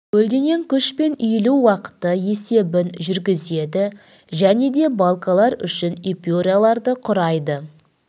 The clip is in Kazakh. көлденең күш пен иілу уақыты есебін жүргізеді және де балкалар үшін эпюраларды құрайды